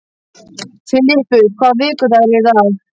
Filippus, hvaða vikudagur er í dag?